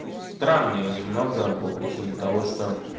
странные немного по причине того что